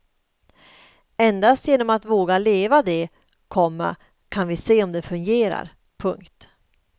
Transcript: Endast genom att våga leva det, komma kan vi se om det fungerar. punkt